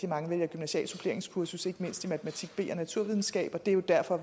mange vælger gymnasialt suppleringskursus ikke mindst i matematik b og naturvidenskab og det er jo derfor